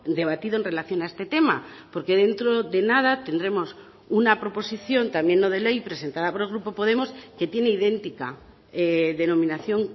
debatido en relación a este tema porque dentro de nada tendremos una proposición también no de ley presentada por el grupo podemos que tiene idéntica denominación